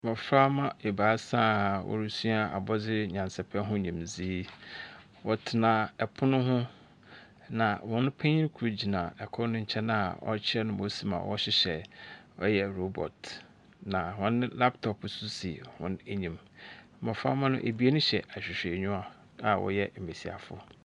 Mboframba a ebiasa a worusua abɔdze nyansapɛ ho nyimdzee, wɔtsena pon ho na hɔn panyin no gyina kor ne nkyɛn a ɔrekyerɛ no mbrɛ wosi ma wɔhyehyɛ ɔyɛ robot, na hɔn laptops so si hɔn enyi, mboframba no ebien hyɛ ahwehwɛniwa a wɔyɛ mbasiafo.